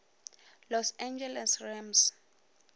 los angeles rams